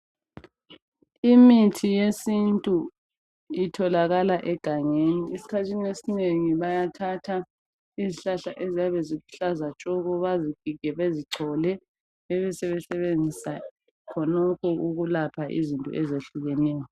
Imithi yesintu itholakala egangeni. Esikhathini esinengi bayathatha izihlahla eziyabe ziluhlaza tshoko bazigige bezichole bebe sebesebenzisa khonokho ukulapha izinto ezehlukeneyo.